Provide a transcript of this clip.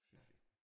Syntes vi